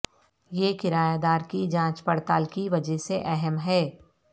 یہ کرایہ دار کی جانچ پڑتال کی وجہ سے اہم ہے